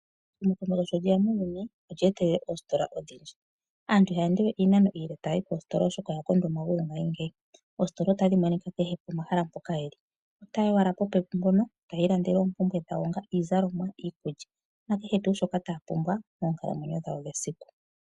Ehumokomeho sho lyoya muuyuni, olye etelela oositola odhindji. Aantu iha ya endewe iinano iile oshoka oyakondwa omagulu ngaashingeyi. Oositola otadhi monika kehe pomahala mpoka ye li, ota ya yi owala popepi mpoka, eta ya ilandele oompumbwe dhayo ngaashi iizalomwa, iikulya, nakehe wo shoka ta ya pumbwa moonkalamwenyo dhawo dhesiku.